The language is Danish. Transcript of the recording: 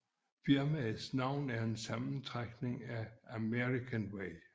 Firmaets navn er en sammentrækning af American way